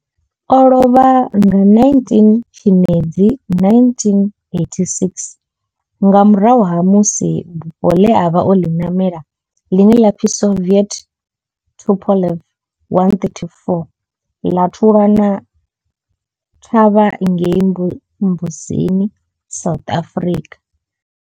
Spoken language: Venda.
O lovha nga 19 Tshimedzi 1986 nga murahu ha musi bufho ḽe a vha o ḽi namela, ḽine ḽa pfi Soviet Tupolev 134 ḽa thulana thavha ngei Mbuzini, South Africa.